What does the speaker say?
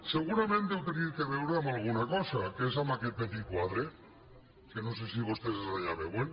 segurament deu tenir a veure amb alguna cosa que és amb aquest petit quadre que no sé si vostès des d’allà el veuen